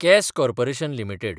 case corporation limited